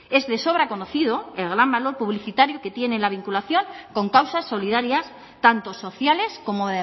es de sobra conocido el gran valor publicitario que tiene la vinculación con causas solidarias tanto sociales como